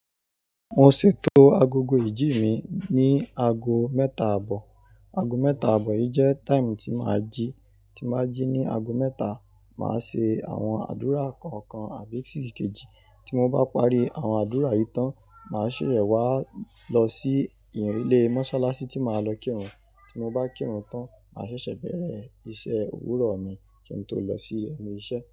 Mo ṣètò agogo ìjí mi ní ago mẹ́ta àbọ̀, ago mẹ́ta àbọ̀ yìí jẹ́ time tí màá jí, tí màá jí ní ago mẹ́ta, màá ṣe àwọn àdúrà kọ̀ọ̀kan àbí sì kejì. Tí mo bá parí àwọn àdúrà yìí tán, màá ṣèsè wá lọ sí ilé mọ́sálásí tí màá lọ kírun. Tí mo bá kírun tán, màá ṣẹ̀ṣẹ̀ bẹ̀rẹ̀ iṣẹ́ òwúrọ̀ mi kí n tó lọ sí enu iṣẹ́.